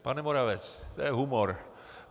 Pane Moravec, to je humor.